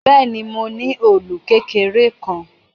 Bẹ́ẹ̀ ni, mo ní òòlù kékeré kan.